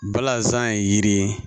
Balazan ye yiri ye